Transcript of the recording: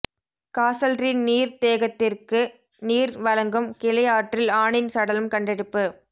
காசல்ரீ நீர்தேகத்திற்கு நீர் வழங்கும் கிளை ஆற்றில் ஆணின் சடலம் கண்டெடுப்பு